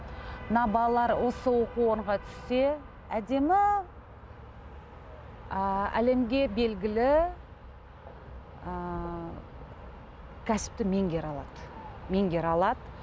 мына балалар осы оқу орнына түссе әдемі ы әлемге белгілі ы кәсіпті меңгере алады меңгере алады